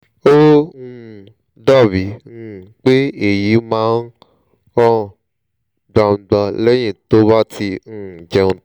ó um dàbíi um pé èyí máa ń hàn gbangba lẹ́yìn tó bá ti um jẹun tán